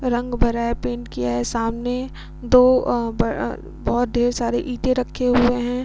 रंग भरा है पेंट किया है सामने दो अ ब बोहत ढेर सारे ईंटे रखे हुए है।